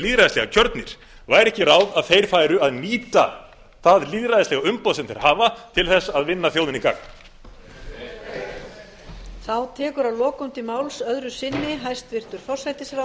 lýðræðislega kjörnir væri ekki ráð að þeir færu að nýta það lýðræðislega umboð sem þeir hafa til þess að vinna þjóðinni gagn heyr heyr